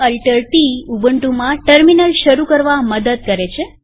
CtrlAltt ઉબુન્ટુમાં terminal શરુ કરવા મદદ કરે છે